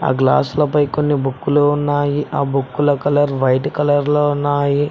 Glass లపై కొన్ని బుక్కులు ఉన్నాయి ఆ బుక్కుల కలర్ వైట్ కలర్ లో ఉన్నాయి.